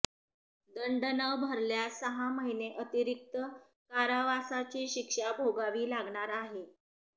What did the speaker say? दंड न भरल्यास सहा महिने अतिरिक्त कारावासाची शिक्षा भोगावी लागणार आहे